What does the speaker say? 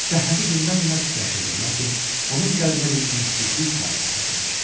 Səhhəti gündən-günə pisləşirdi, lakin onun qəlbinə bir ümidsizlik hakim kəsilmişdi.